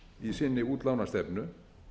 í sinni útlánastefnu